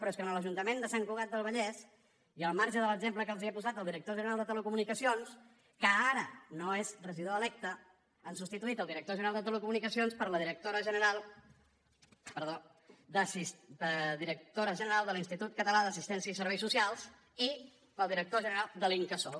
però és que en l’ajuntament de sant cugat del vallès i al marge de l’exemple que els he posat del director general de telecomunicacions que ara no és regidor electe han substituït el director general de telecomunicacions per la directora general de l’institut català d’assistència i serveis socials i pel director general de l’incasòl